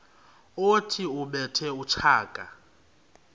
othi ubethe utshaka